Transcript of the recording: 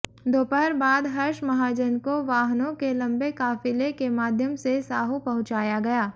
दोपहर बाद हर्ष महाजन को वाहनों के लंबे काफिले के माध्यम से साहो पहुंचाया गया